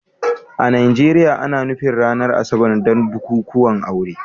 A Najeriya, ana nufin ranar Asabar don bukukuwan aure